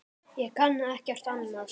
Ég kann ekkert annað.